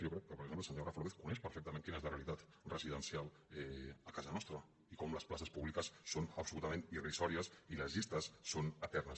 jo crec que per exemple el senyor rafa lópez coneix perfectament quina és la realitat residencial a casa nostra i com les places públiques són absolutament irrisòries i les llistes són eternes